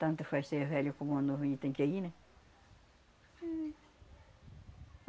Tanto faz ser velho como novo a gente tem que é ir, né? Éh...